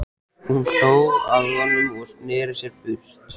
Hún hló að honum og sneri sér burt.